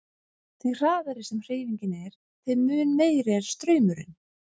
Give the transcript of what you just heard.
Því hraðari sem hreyfingin er þeim mun meiri er straumurinn.